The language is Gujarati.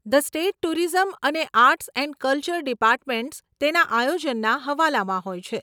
ધ સ્ટેટ ટુરિઝમ અને આર્ટ્સ એન્ડ કલ્ચર ડીપાર્ટમેંટ્સ તેના આયોજનના હવાલામાં હોય છે.